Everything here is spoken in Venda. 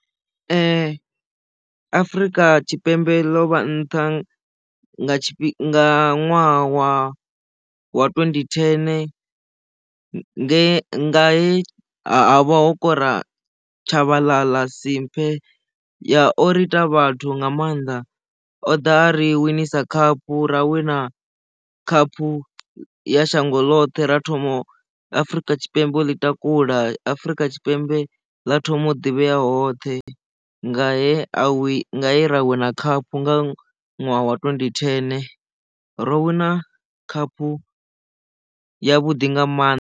Afrika Tshipembe ḽo vha nṱha nga tshifhinga ṅwaha wa twendi thene nge he ha vha ho kora tshavhaḽaḽa simphe ya o ri ita vhathu nga mannḓa o ḓa a ri winisa khaphu ra wina khaphu ya shango ḽoṱhe ra thoma afrika tshipembe o ḽi takula afrika tshipembe ḽa thoma u ḓivhea hoṱhe nga he a i ra wina khaphu nga ṅwaha wa twendi thene ro wina khaphu ya vhuḓi nga maanḓa.